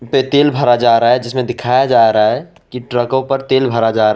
पे तेल भरा जा रहा है जिसमे दिखाया जा रहा है कि ट्रकों पे तेल भरा जा रहा--